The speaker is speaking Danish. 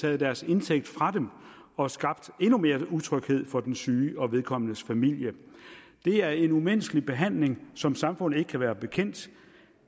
taget deres indtægt fra dem og skabt endnu mere utryghed for den syge og vedkommendes familie det er en umenneskelig behandling som samfundet ikke kan være bekendt